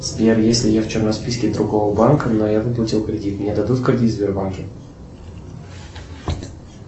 сбер если я в черном списке другого банка но я выплатил кредит мне дадут кредит в сбербанке